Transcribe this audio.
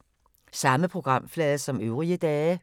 Samme programflade som øvrige dage